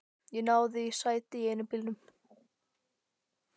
Ég náði í sæti í einum bílnum.